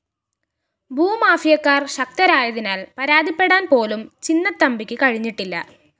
ഭൂമാഫിയക്കാര്‍ ശക്തരായതിനാല്‍ പരാതിപ്പെടാന്‍ പോലും ചിന്നത്തമ്പിക്ക് കഴിഞ്ഞിട്ടില്ല